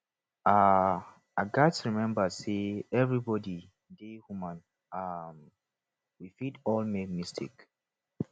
um i gats remember say everybody dey human um we fit all make mistakes